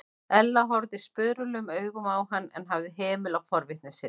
Ella horfði spurulum augum á hann en hafði hemil á forvitni sinni.